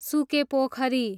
सुके पोखरी